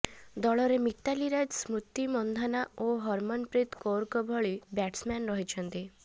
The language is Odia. ଦଳରେ ମିତାଲି ରାଜ ସ୍ମୃତି ମନ୍ଧାନା ଓ ହରମନପ୍ରୀତ କୌରଙ୍କ ଭଳି ବ୍ୟାଟସ୍ମ୍ୟାନ୍ ରହିଛନ୍ତି